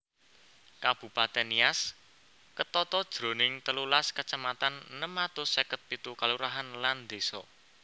Kabupatèn Nias ketata jroning telulas kacamatan enem atus seket pitu kalurahan lan désa